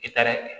I taara